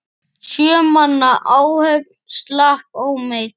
Sjö manna áhöfn slapp ómeidd.